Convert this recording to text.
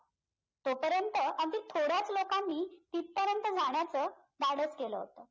तोपर्यंत अगदी थोड्याच लोकांनी तिथपर्यंत जाण्याचं धाडस केलं होतं